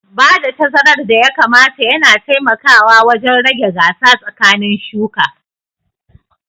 Bada tazarar da ya kamata yana taimakawa wajen rage gasa tsakanin shuka